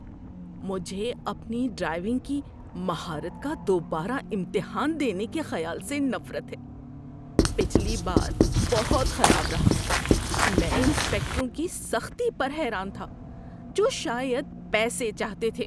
‏مجھے اپنی ڈرائیونگ کی مہارت کا دوبارہ امتحان دینے کے خیال سے نفرت ہے۔ پچھلی بار بہت خراب رہا۔ میں انسپکٹروں کی سختی پر حیران تھا جو شاید پیسے چاہتے تھے۔